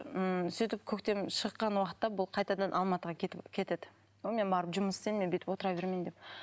ммм сөйтіп көктем шыққан уақытта бұл қайтадан алматыға кетеді мен барып жұмыс істейін мен бүйтіп отыра бермейін деп